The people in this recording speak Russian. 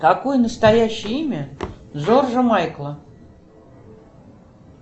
какое настоящее имя джорджа майкла